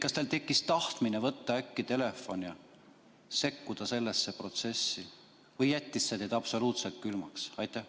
Kas teil tekkis tahtmine võtta telefon ja sekkuda sellesse protsessi või jättis see teid absoluutselt külmaks?